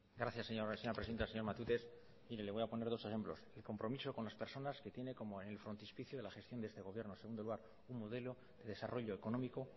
gracias señora presidenta señor matute mire le voy a poner dos ejemplos el compromiso con las personas que tiene como el frontispicio de la gestión de este gobierno en segundo lugar un modelo de desarrollo económico